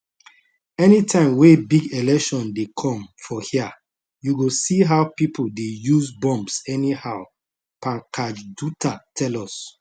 anytime wey big election dey come for hia you go see how pipo dey use bombs anyhow pankaj dutta tell us